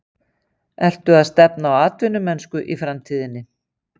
Ertu að stefna á atvinnumennsku í framtíðinni?